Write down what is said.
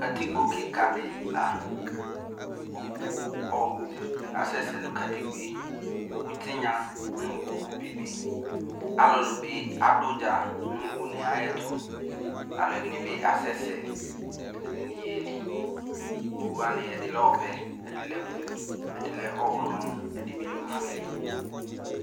Katikpo kika de laOwu ɔbu asɛsɛ no katikpoe, owu tenya no owu bebe Alulu be ado udza no une ayeto Aluɛde ne be asɛsɛ, ɛdene ye li Owu wane ɛde lɛ ɔvɛ, ɛde lɛ blu, ɛde lɛ ɔwlɔmɔ, ɛde be lɛ ofuele